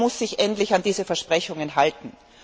Er muss sich endlich an diese Versprechungen halten.